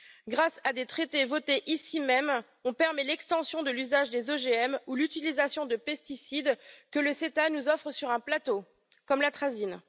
Grâce à des traités votés ici même, on permet l'extension de l'usage des OGM ou l'utilisation de pesticides que l'AECG nous offre sur un plateau, comme l'atrazine.